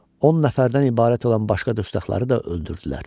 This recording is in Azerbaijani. On nəfərdən ibarət olan başqa dustaqları da öldürdülər.